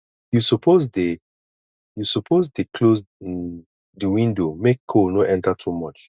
you suppose dey you suppose dey close um di window make cold no enter too much